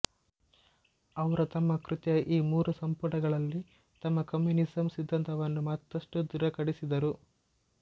ಅವರು ತಮ್ಮ ಕೃತಿಯ ಈ ಮೂರು ಸಂಪುಟಗಳಲ್ಲಿ ತಮ್ಮ ಕಮ್ಯೂನಿಸಮ್ ಸಿದ್ದಾಂತವನ್ನು ಮತ್ತಷ್ಟು ದೃಢೀಕರಿಸಿದರು